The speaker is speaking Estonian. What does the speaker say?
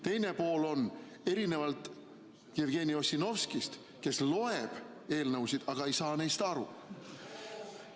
Teine pool on see: erinevalt Jevgeni Ossinovskist, kes loeb eelnõusid, aga ei saa neist aru.